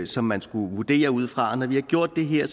som man skulle vurdere ud fra og når vi har gjort det her